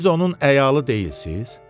Siz onun əyalı deyilsiz?